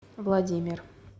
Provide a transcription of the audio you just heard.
владимир